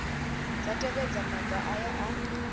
dza tevhedza maga aya a